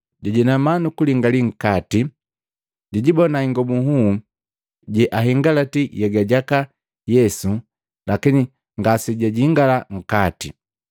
Jajinama nukulingali nkati, jijibona ingobu nhuu seahingalaki nhyega jaka Yesu lakini ngasejajingala nkate.